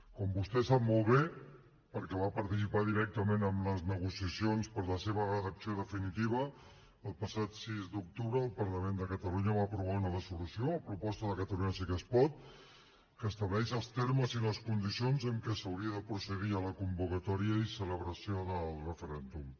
com vostè sap molt bé perquè va participar directament en les negociacions per a la seva redacció definitiva el passat sis d’octubre el parlament de catalunya va aprovar una resolució a proposta de catalunya sí que es pot que estableix els termes i les condicions en què s’hauria de procedir a la convocatòria i celebració del referèndum